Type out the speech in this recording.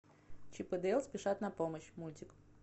чип и дейл спешат на помощь мультик